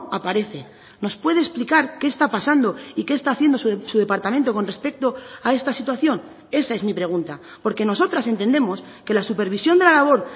aparece nos puede explicar qué está pasando y qué está haciendo su departamento con respecto a esta situación esa es mi pregunta porque nosotras entendemos que la supervisión de la labor